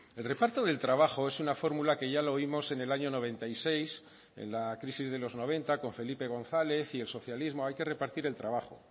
el reparto del trabajo es una fórmula que ya lo oímos en el año noventa y seis en la crisis de los noventa con felipe gonzález y el socialismo hay que repartir el trabajo